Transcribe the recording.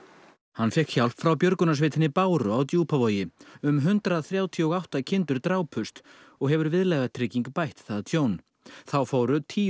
hann fékk hjálp frá björgunarsveitinni Báru á Djúpavogi um hundrað þrjátíu og átta kindur drápust og hefur viðlagatrygging bætt það tjón þá fóru tíu